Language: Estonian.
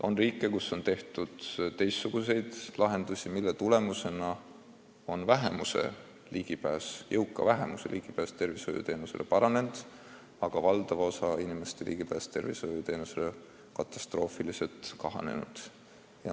On riike, kus on valitud teistsuguseid lahendusi, mille tulemusena on jõuka vähemuse ligipääs tervishoiuteenustele paranenud, aga valdava osa inimeste võimalused saada korralikku arstiabi on katastroofiliselt kahanenud.